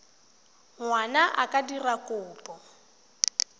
ngwana a ka dira kopo